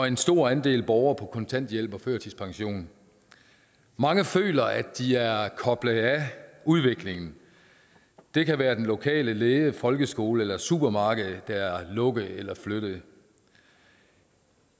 en stor andel af borgere er på kontanthjælp og førtidspension mange føler at de er koblet af udviklingen det kan være den lokale læge folkeskole eller supermarked der er lukket eller flyttet jeg